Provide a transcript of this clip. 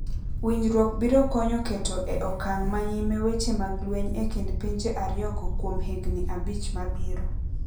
Winjrwok biro konyo keto e okang manyime weche mag lweny e kind pinje ario go kuom higni abich mabiro.